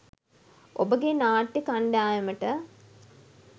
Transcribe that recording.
ඔබගේ නාට්‍ය කණ්ඩායමට